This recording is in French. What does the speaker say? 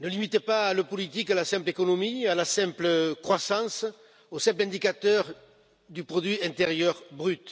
ne limitez pas le politique à la simple économie, à la simple croissance, au simple indicateur du produit intérieur brut.